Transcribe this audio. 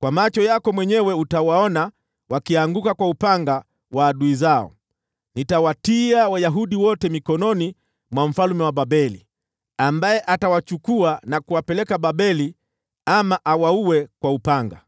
kwa macho yako mwenyewe utawaona wakianguka kwa upanga wa adui zao. Nitawatia Yuda wote mikononi mwa mfalme wa Babeli, ambaye atawachukua na kuwapeleka Babeli, ama awaue kwa upanga.